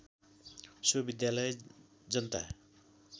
so विद्यालय जनता